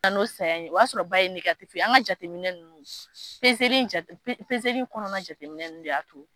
An y'o saya in ye, o y'a sɔrɔ ba ye ye, an ka jateminɛ ninnu pezeli in jate, pe pezeli kɔnɔna jateminɛ ninnu de y'a to